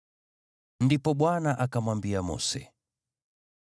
Ndipo Bwana akamwambia Mose,